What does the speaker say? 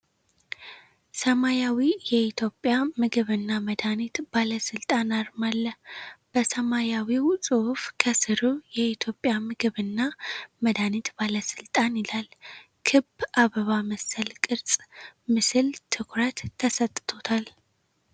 ሰማያዊ የኢትዮጵያ ምግብና መድኃኒት ባለስልጣን አርማ አለ። በሰማያዊው ጽሑፍ ከስሩ "የኢትዮጵያ ምግብና መድኃኒት ባለስልጣን" ይላል። ክብ አበባ መሰል ቅርፅ ምስል ትኩረት ተሰጥቶታል።